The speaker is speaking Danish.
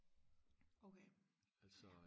okay ja